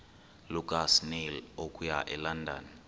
lukasnail okuya elondon